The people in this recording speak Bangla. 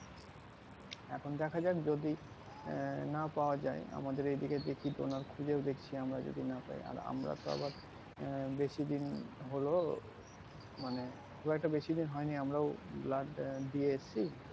এখন দেখা যাক যদি আহ না পাওয়া যাই আমাদের এদিকে দেখি donor খুঁজেও দেখছি আমরা যদি না পাই আর আমরা তো আবার আহ বেশিদিন হলো মানে খুব একটা বেশিদিন হয়নি আমরাও blood দিয়ে এসেছি